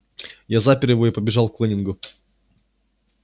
я запер его и побежал к лэннингу